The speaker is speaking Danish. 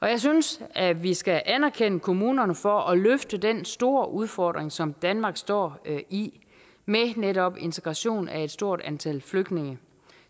jeg synes at vi skal anerkende kommunerne for at løfte den store udfordring som danmark står i med netop integration af et stort antal flygtninge